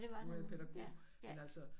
Nu var jeg pædagog men altså